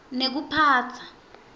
nekuphatsa